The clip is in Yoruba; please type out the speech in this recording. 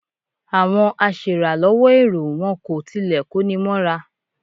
Àwọn aṣèràlọ́wọ́ èrò wọn kò tilẹ̀ kóni mọ́ra.